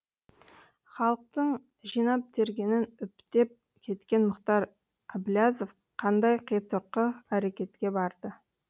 халықтың жинап тергенін үптеп кеткен мұхтар әбіләзов қандай қитұрқы әрекетке барды